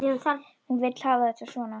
Hún vill hafa þetta svona.